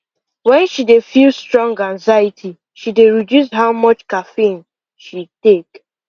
when she dey feel strong anxiety she dey reduce how much caffeine she take